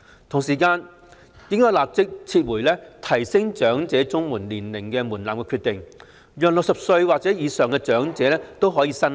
同時，政府應立即撤回提高領取長者綜援年齡門檻的決定，讓60歲或以上的長者均可申領。